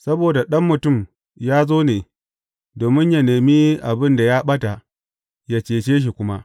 Saboda Ɗan Mutum ya zo ne, domin yă nemi abin da ya ɓata, yă cece shi kuma.